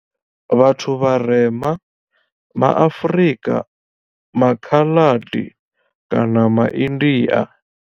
Vhathu vharema ma Afrika, ma Khaladi kana ma India.